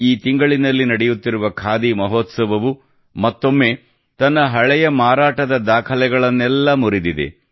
ಈ ತಿಂಗಳಿನಲ್ಲಿ ನಡೆಯುತ್ತಿರುವ ಖಾದಿ ಮಹೋತ್ಸವವು ಮತ್ತೊಮ್ಮೆ ತನ್ನ ಹಳೆಯ ಮಾರಾಟದ ದಾಖಲೆಗಳನ್ನೆಲ್ಲ ಮುರಿದಿದೆ